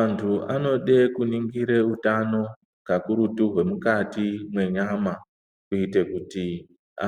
Antu anode kuningire utano kakurutu hwemukati menyama kuite kuti